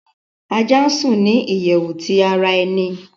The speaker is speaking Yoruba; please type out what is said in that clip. Aja sùn ni iyẹwu ti ara ẹni